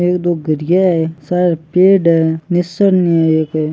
एक दो घरिया है सारे पेड़ है निसरनी है एक।